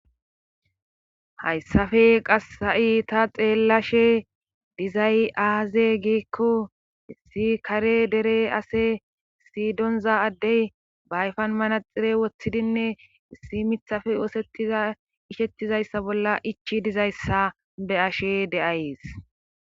hayssafe qassa7i ta xeellashe dizay aaze giikko issi kare dere ase sidonza addey bayfan manaxire wothidinne issi mithafe oosettiza ishettizayssa bolla ichi dizayssa be ashe de7ayes